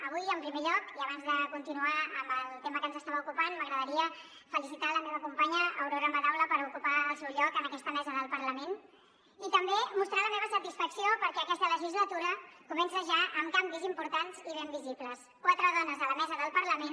avui en primer lloc i abans de continuar amb el tema que ens estava ocupant m’agradaria felicitar la meva companya aurora madaula per ocupar el seu lloc en aquesta mesa del parlament i també mostrar la meva satisfacció perquè aquesta legislatura comença ja amb canvis importants i ben visibles quatre dones a la mesa del parlament